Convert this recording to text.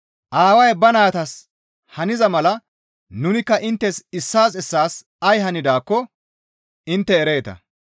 Aaway ba naytas haniza mala nunikka inttes issaas issaas ay hanidaakko intte ereeta.